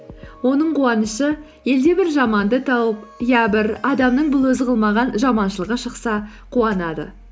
оның қуанышы елде бір жаманды тауып я бір адамның бұл өзі қылмаған жаманшылығы шықса қуанады